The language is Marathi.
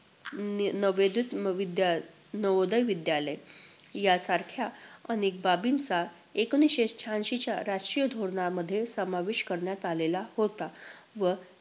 अं नवोदत विद्याल~ नवोदय विद्यालय यासारख्या अनेक बाबींचा एकोणवीसशे शहाऐंशीच्या राष्ट्रीय धोरणामध्ये समावेश करण्यात आलेला होता, व